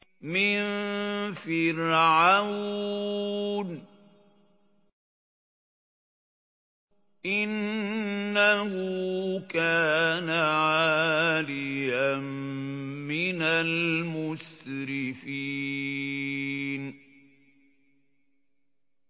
مِن فِرْعَوْنَ ۚ إِنَّهُ كَانَ عَالِيًا مِّنَ الْمُسْرِفِينَ